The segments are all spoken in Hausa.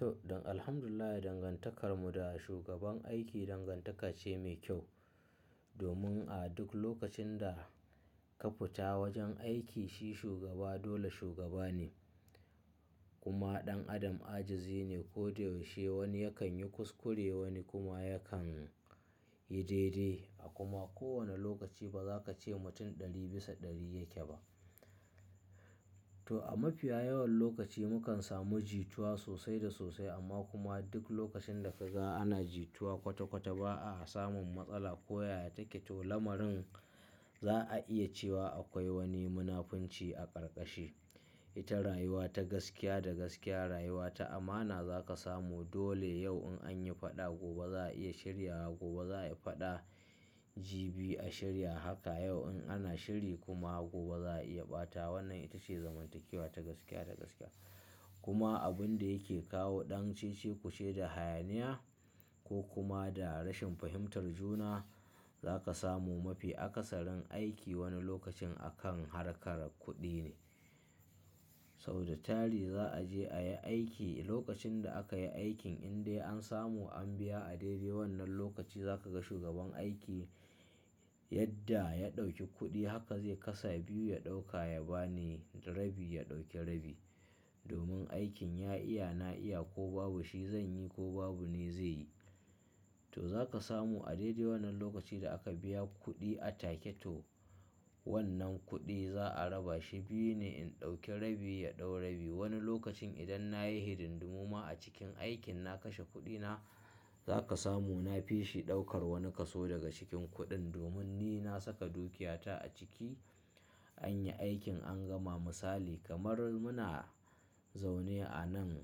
To, dan alhamdulillah dangantakarmu da shugaban aiki dangantaka ce mai kyau. Domin a duk lokacin da ka fita wajen aiki shi shugaba, dole shugaba ne. Kuma ɗan adam ajizi ne. Ko da yaushe wani yakan yi kuskure, wani kuma yakan yi daidai. A kuma kowane lokaci ba za ka ce mutum ɗari bisa ɗari yake ba. To a mafiya yawan lokaci mukan samu jitowa sosai da sosai amma kuma duk lokacin da ka ga ana jitowa kwata kwata ba a samun matsala. Ko ya yake to lamarin za a iya cewa akwai wani munafunci a karkashi. Ita rayuwa ta gaskiya da gaskiya rayuwa ta amana za ka samu. Dole yau in an yi faɗa gobe za a iya shirya, gobe za a yi faɗa jibi a shirya. Haka yau in ana shiri kuma gobe za a iya ɓata. Wannan ita ce zamantakewa ta gaskiya da gaskiya. Kuma abun da yake kawo ɗan cicciku ce da hayaniya ko kuma da rashin fahimtar juna za ka samu mafi akasarin aiki wani lokacin akan harkar kuɗi ne. Sau da tari za a je a yi aiki. Lokacin da aka yi aikin in dai an samu an biya a daidai wannan lokaci za ka ga shugaban aiki yadda ya ɗauki kuɗi haka zai kasa biyu ya ɗauka ya ba ni, rabi ya ɗauki rabi. Domin aikin ya iya na iya ko babu shi zan yi ko babu ni zai yi. To za ka samu a daidai wannan lokaci da aka biya kuɗi a take to wannan kuɗi za a raba shi biyu ne in ɗauki rabi ya ɗau rabi. Wani lokacin idan na yi hirdin dumama a cikin aikin na kashe kuɗina za ka samu na fi shi ɗaukar wani kaso daga cikin kuɗin. Domin ni na saka dukiyata a ciki. An yi aikin an gama misali kamar muna zaune a nan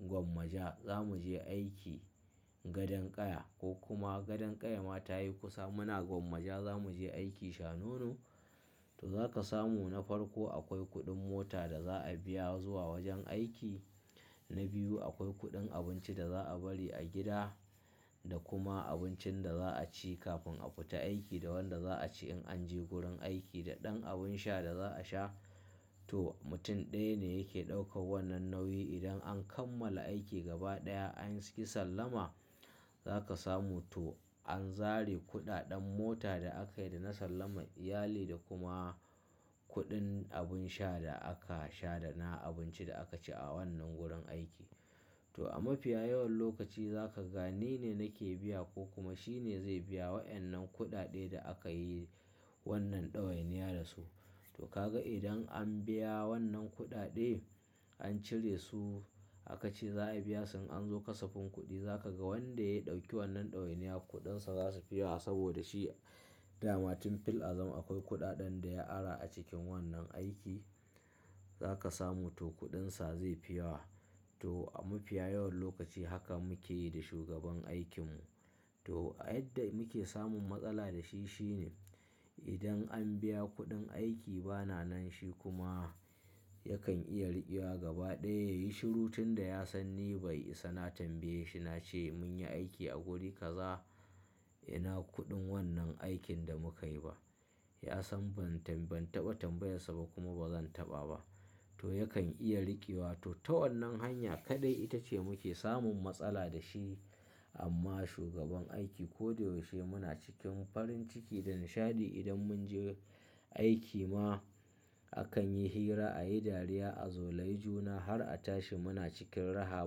gwamaja za mu je aiki gadon ƙaya ko kuma gadon ƙaya ma ta yi kusa muna gwamaja za mu je aiki shanono. To za ka samu na farko akwai kuɗin mota da za a biya zuwa wajen aiki. Na biyu akwai kuɗin abinci da za a bari a gida da kuma abincin da za a ci kafin a fita aiki da wanda za a ci in an je gurin aiki da ɗan abin sha da za a sha. To mutum ɗaya ne yake ɗaukar wannan nauyi. Idan an kammala aiki gaba ɗaya anyii sallama za ka samu to an zare kuɗaɗen mota da aka yi da na sallamar iyali da kuma kuɗin abin sha da aka sha da na abinci da aka ci a wannan gurin aiki. To a mafiya yawan lokaci za ka ga ni ne nake biya ko kuma shi ne zai biya waɗannan kuɗaɗe da aka yi wannan ɗawainiya da su. To ka ga idan an biya wannan kuɗaɗe an cire su aka ce za a biya sai an zo kasafin kuɗi za ka ga wanda ya ɗauki wannan ɗawainiya kuɗinsa za su fiya saboda shi dama tun fil azal akwai kuɗaɗen da ya ara a cikin wannan aiki. Za ka samu to kuɗinsa zai fiya. To a mafiya yawan lokaci haka muke yi da shugaban aikinmu. To a yadda muke samun matsala da shi shine idan an biya kuɗin aiki bana nan shi kuma yakan iya riƙewa gaba ɗaya ya yi shiru tun da ya san ni bai isa na tambaye shi na ce mun yi aiki a godi kaza ina kuɗin wannan aikin da muka yi ba. Ya san ban tamba tambayarsa ba kuma ba zan taɓa ba. To yakan iya riƙewa. To ta wannan hanya kaɗai ita ce muke samun matsala da shi. Amma shugaban aiki ko da yaushe muna cikin farin ciki da nishaɗi. Idan mun je aiki ma akan yi hira, a yi dariya, a zolai juna har a tashi muna cikin raha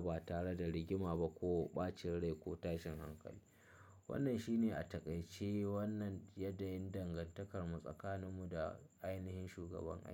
ba tare da rigima ba ko ɓacin rai ko tashin hankali. Wannan shi ne a taƙaice wannan yanayin dangantakarmu tsakaninmu da ainihin shugaban aiki.